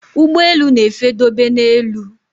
Ụgbọelu na efe dobe na élú